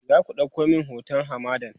zaku ɗauko min hoton hamadan?